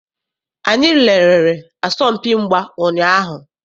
Anyị lerere asọmpi mgba ụnyaahụ.